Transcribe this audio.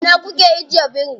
A ina kuke ajiye birin?